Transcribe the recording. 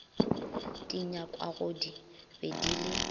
di nyakwagodi be di le